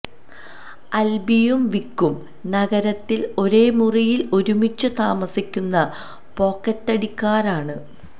ആല്ബിയും വിക്കും നഗരത്തില് ഒരേ മുറിയില് ഒരുമിച്ച് താമസിക്കുന്ന പോക്കറ്റടിക്കാരാണ്